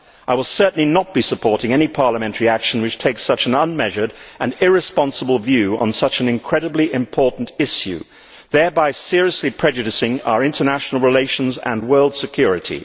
I will certainly not be supporting any parliamentary action that takes such an unmeasured and irresponsible view of such an incredibly important issue, thereby seriously prejudicing our international relations and world security.